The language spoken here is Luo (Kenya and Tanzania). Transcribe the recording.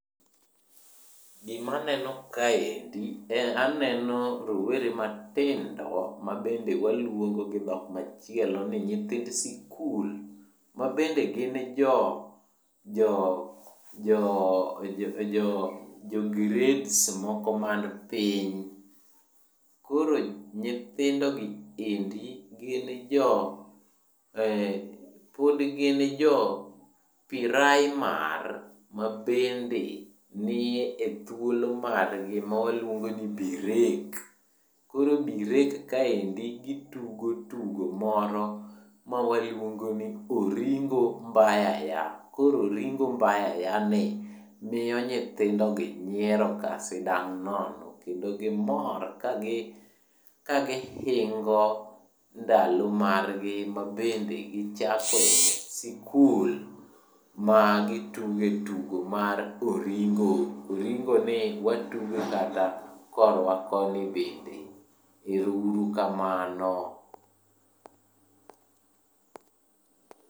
Gimaneno kaendi en aneno rowere matindo mabende waluongo gidhok machielo ni nyithind sikul. Mabende gin jo grades moko man piny. Koro nyithindogi eri pod gin jo piraimar, mabende ni ethuolo margi ma waluongo ni birek. Koro birek kaendi gitugo tugo moro mawaluongo ni oringo mbayaya. Koro oringo mbayaya ni miyo nyithindogi nyieroka sindang' nono kendo gimor kagihingo ndalo margi mabende gichakoe sikul ma gituge tugo mar oringo. Oringoni watuge kata korwa koni bende, ero uru kamano.